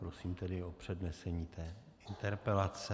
Prosím tedy o přednesení té interpelace.